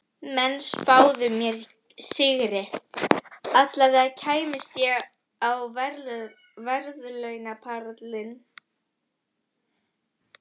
Menn spáðu mér sigri, allavega kæmist ég á verðlaunapallinn.